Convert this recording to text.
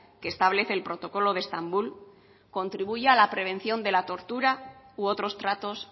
que establece el protocolo de estambul contribuya a la prevención de la tortura u otros tratos